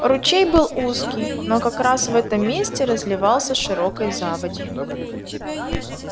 ручей был узкий но как раз в этом месте разливался широкой заводью